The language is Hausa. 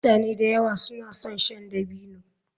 Mutane da yawa suna son shan dabino.